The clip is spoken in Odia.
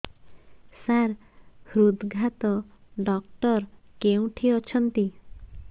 ସାର ହୃଦଘାତ ଡକ୍ଟର କେଉଁଠି ଅଛନ୍ତି